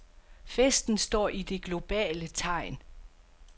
Festen står i det globale tegn.